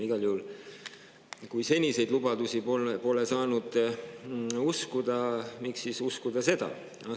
Igal juhul, kui seniseid lubadusi pole saanud uskuda, miks siis uskuda seda?